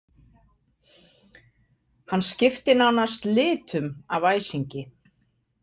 Hann skipti nánast litum af æsingi.